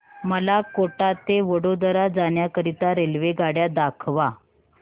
मला कोटा ते वडोदरा जाण्या करीता रेल्वेगाड्या दाखवा